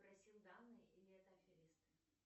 просил данные или это аферисты